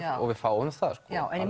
og við fáum það